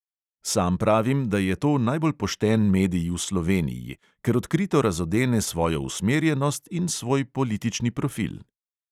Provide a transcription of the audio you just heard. Sam pravim, da je to najbolj pošten medij v sloveniji, ker odkrito razodene svojo usmerjenost in svoj politični profil.